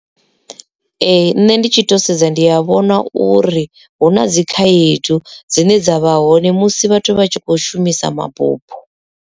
Ee nṋe ndi tshi to sedza ndi a vhona uri hu na dzikhaedu dzine dza vha hone musi vhathu vha tshi kho shumisa mabufho.